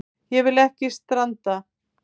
Ég vil ekki stranda.